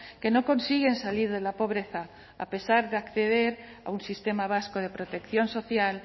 que no consiguen salir de la pobreza a pesar de acceder a un sistema vasco de protección social